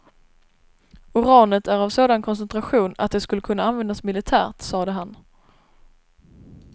Uranet är av sådan koncentration att det skulle kunna användas militärt, sade han.